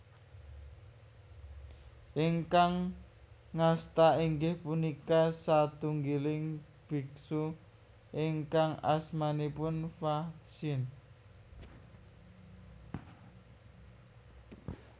Ingkang ngasta inggih punika satunggiling bhiksu ingkang asmanipun Fa Hsien